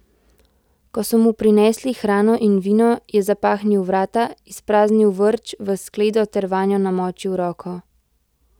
Ko so mu prinesli hrano in vino, je zapahnil vrata, izpraznil vrč v skledo ter vanjo namočil roko.